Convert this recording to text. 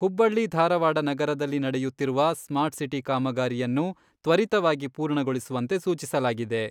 ಹುಬ್ಬಳ್ಳಿ ಧಾರವಾಡ ನಗರದಲ್ಲಿ ನಡೆಯುತ್ತಿರುವ ಸ್ಮಾರ್ಟ್ಸಿಟಿ ಕಾಮಗಾರಿಯನ್ನು ತ್ವರಿತವಾಗಿ ಪೂರ್ಣಗೊಳಿಸುವಂತೆ ಸೂಚಿಸಲಾಗಿದೆ.